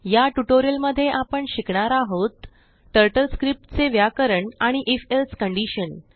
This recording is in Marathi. याटयूटोरिअल मध्येआपण शिकणार आहोत टर्टल स्क्रिप्टचे व्याकरण आणि if elseकंडीशन